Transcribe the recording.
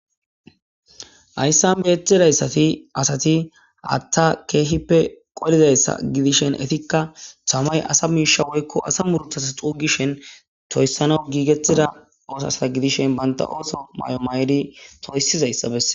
Hayssan beetidayssati asati haatta keehippe qolizayssa gidishen etikka tamay asa miisha woykko asa muruthasa xuugishen toyssanaw giigettida oosasta gidishen banta ooso may7o may7edi toyssizayssa besse.